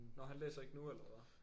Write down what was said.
Nå han læser ikke nu eller hvad